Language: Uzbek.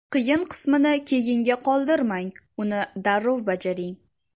Qiyin qismini keyinga qoldirmang, uni darrov bajaring.